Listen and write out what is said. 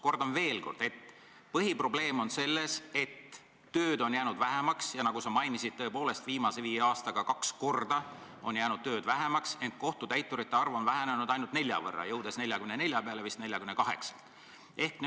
Kordan veel kord: põhiprobleem on selles, et tööd on jäänud vähemaks – nagu sa mainisid, tõepoolest, viimase viie aastaga on tööd kaks korda vähemaks jäänud –, ent kohtutäiturite arv on vähenenud ainult nelja võrra, jõudes 44 peale vist 48 pealt.